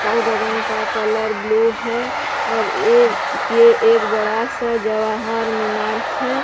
कल गगन का कलर ब्लू है और ये ये एक बड़ा सा जवाहर मीनार है।